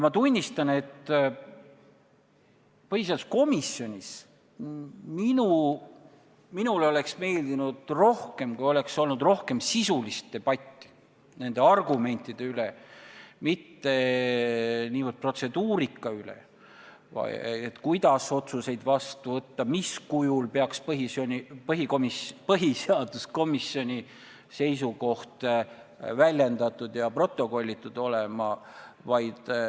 Ma tunnistan, et minule oleks meeldinud, kui põhiseaduskomisjonis oleks olnud rohkem sisulist debatti nende argumentide üle, mitte niivõrd protseduurika üle, kuidas otsuseid vastu võtta ning mis kujul peaks põhiseaduskomisjoni seisukoht väljendatud ja protokollitud olema.